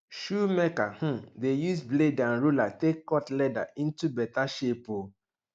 shoemaker um dey use blade and ruler take cut leather into beta shape um